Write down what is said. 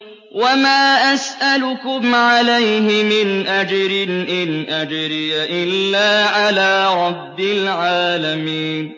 وَمَا أَسْأَلُكُمْ عَلَيْهِ مِنْ أَجْرٍ ۖ إِنْ أَجْرِيَ إِلَّا عَلَىٰ رَبِّ الْعَالَمِينَ